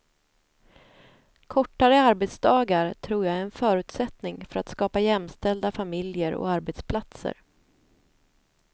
Kortare arbetsdagar tror jag är en förutsättning för att skapa jämställda familjer och arbetsplatser.